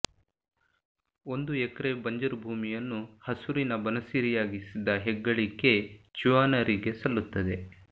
ಒಂದು ಎಕ್ರೆ ಬಂಜರು ಭೂಮಿಯನ್ನು ಹಸುರಿನ ಬನಸಿರಿಯಾಗಿಸಿದ ಹೆಗ್ಗಳಿಕೆ ಚ್ಯವನರಿಗೆ ಸಲ್ಲುತ್ತದೆ